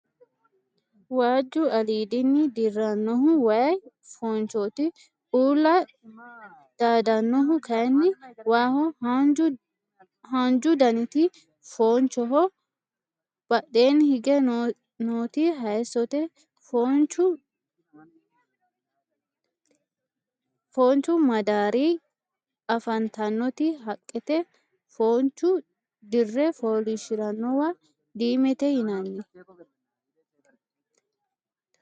Waajju aliidinni dirrannohu wayi foonchooti. uulla daadannohu kayinni waaho. haanju daniti foonchoho badheenni higge nooti hayisote. foonchu midaadira afantannoti haqqete. foonchu dirre foolishshirannowa diimete yinanni